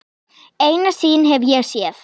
Eina sýn hef ég séð.